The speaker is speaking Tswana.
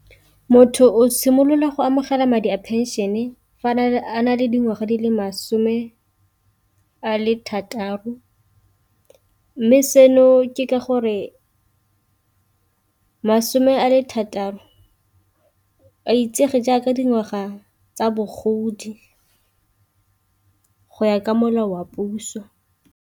Motho o simolola go amogela madi a pension e fa a na le dingwaga di le masome a le thataro, mme seno ke ka gore masome a le thataro a itsege jaaka dingwaga tsa bogodi go ya ka molao wa puso.